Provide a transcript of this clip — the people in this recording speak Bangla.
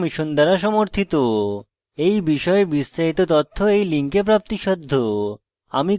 এই বিষয়ে বিস্তারিত তথ্য এই লিঙ্কে প্রাপ্তিসাধ্য spoken hyphen tutorial dot org slash nmeict hyphen intro